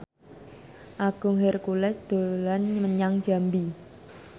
Agung Hercules dolan menyang Jambi